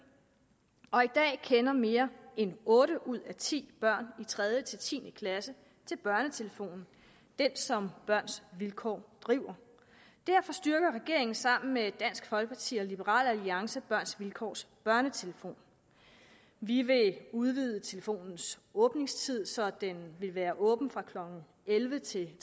og i dag kender mere end otte ud af ti børn i tredje ti klasse til børnetelefonen som børns vilkår driver derfor styrker regeringen sammen med dansk folkeparti og liberal alliance børns vilkårs børnetelefonen vi vil udvide telefonens åbningstid så den vil være åben fra klokken elleve til